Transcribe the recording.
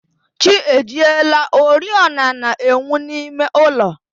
Chi ejiela, oriọna na-enwu n'ime ụlọ